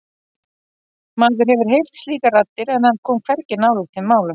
Maður hefur heyrt slíkar raddir en hann kom hvergi nálægt þeim málum.